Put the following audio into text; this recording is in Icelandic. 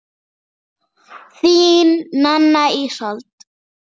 Þín, Nanna Ísold.